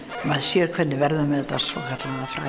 maður sér hvernig verður með þetta svokallaða fræga